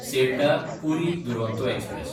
सेल्डाः–पुरी Duronto express